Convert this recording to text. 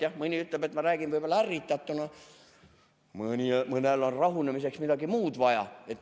Jah, mõni ütleb, et ma räägin ärritatuna, mõnel on rahunemiseks midagi muud vaja.